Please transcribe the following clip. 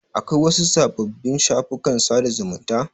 Akwai wasu sababbin shafukan sada zumunta?